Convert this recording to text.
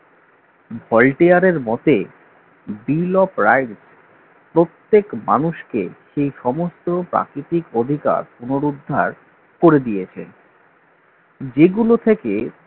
Voltaire এর মতে bill of rights প্রত্যেক মানুষকে সেই সমস্ত প্রাকৃতিক অধিকার পুনরুদ্ধার করে দিয়েছেন। যেগুলো থেকে